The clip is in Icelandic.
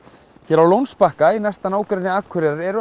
á Lónsbakka í næsta nágrenni Akureyrar eru